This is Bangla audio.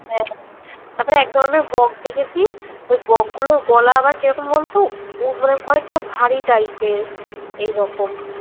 হ্যাঁ তারপর একধরণের বক দেখেছি তো বকগুলোর গলা আবার কিরকম বলতো অনেকটা ভারী type এর এইরকম